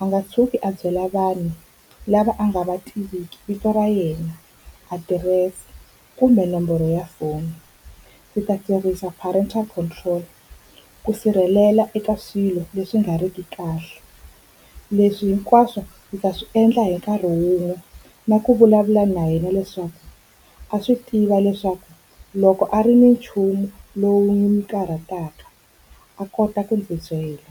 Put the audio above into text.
a nga tshuki a byela vanhu lava a nga va tiviki vito ra yena, adirese kumbe nomboro ya foni. Ndzi ta tirhisa prenatal control ku sirhelela eka swilo leswi nga riki kahle. Leswi hinkwaswo ndzi ta swi endla hi nkarhi wun'we na ku vulavula na yena, leswaku a swi tiva leswaku loko a ri ni nchumu lowu wu n'wi karhataka a kota ku ndzi byela.